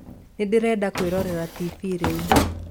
Ndĩrenda kwĩrorera tibii rĩu.